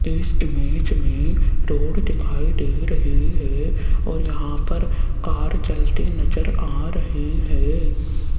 इस इमेज में रोड दिखाई दे रही है और यहां पर कार चलती नजर आ रही है।